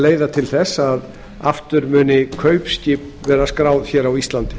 leiða til þess að kaupskip muni aftur verða skráð á íslandi